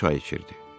Çay içirdi.